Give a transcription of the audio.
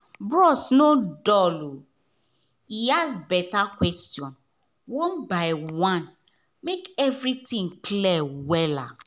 bros no dull — e ask beta question one by one make everything clear well.